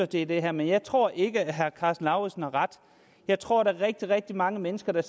til det her men jeg tror ikke at herre karsten lauritzen har ret jeg tror at der er rigtig mange mennesker der